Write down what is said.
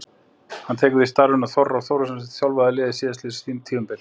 Hann tekur við starfinu af Orra Þórðarsyni sem þjálfaði liðið síðastliðið tímabil.